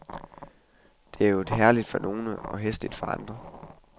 Det er jo herligt for nogle og hæsligt for andre.